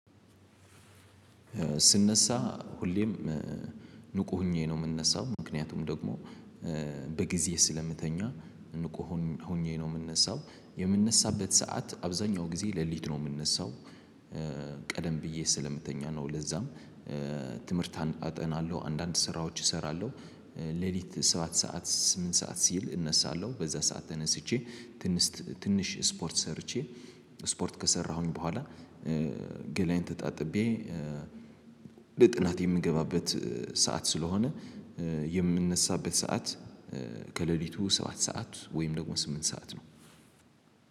ስነሳ ሁሌም ንቁ ሆኜ ነው የምነሳው ምክንያቱም ደግሞ በጊዜ ስለምተኛ ንቁ ሆኜ ነው የምነሳው የምነሳበት ሰዓት አብዛኛው ጊዜ ሌሊት ነው የምነሳው ቀደም ብዬ ስለምተኛ ነው። ለዛም ትምህርት አጠናለሁ አንዳንድ ስራዎች እሰራለሁ። ሌሊት ሰባት ሰዓት ስምንት ሰዓት ሲል እነሳለሁ በዛ ሰዓት ተነስቼ ትንሽ ትንሽ ስፖርት ሰርቼ ስፖርት ከሰራሁኝ በኋላ ገላየን ተጣጥቤ ለጥናት የምገባበት ሰዓት ስለሆነ። የምነሳበት ሰዓት ከሌሊቱ ሰባት ሰዓት ወይም ደግሞ ስምንት ሰዓት ነው